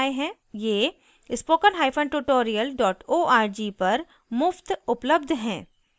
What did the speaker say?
ये